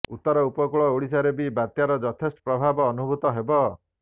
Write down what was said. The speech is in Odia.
ଉତ୍ତର ଉପକୂଳ ଓଡ଼ିଶାରେ ବି ବାତ୍ୟାର ଯଥେଷ୍ଟ ପ୍ରଭାବ ଅନୁଭୂତ ହେବ